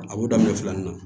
A b'o daminɛ filanin na